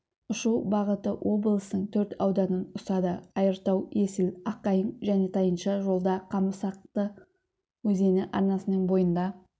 ұшу бағыты облыстың төрт ауданын ұстады айыртау есіл аққайын және тайынша жолда қамысақты өзені арнасының бойында